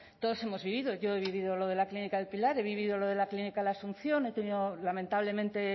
todos hemos vivido yo he vivido lo de la clínica el pilar he vivido lo de la clínica la asunción he tenido lamentablemente